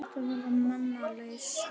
Þetta verða menn að leysa.